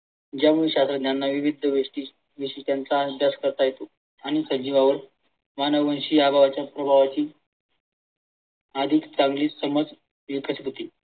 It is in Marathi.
ज्यामुळे शास्त्रज्ञांना विविध गोष्टी विशिष्टांचा अभ्यास करता येतो आणि सजीवावर मानववंशी प्रभावाची अधिक चांगली समज येतच होती.